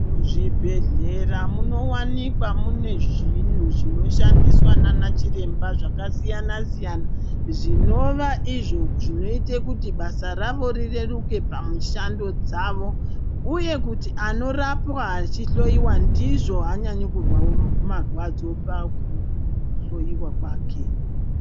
Muzvibhedhlera munowanikwa mune zvinhu zvinoshandiswa nanachiremba zvakasiyana siyana zvinova izvo zvinoita kuti basa ravo rireruke pamushando dzavo uye kuti anorapwa achihloyiwa ndizvo aanyanyi kuzwa marwadzo pakuhloyiwa kwake.